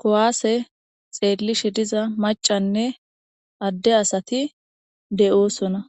ku'ase xelishe diza macanee ade asati de'osona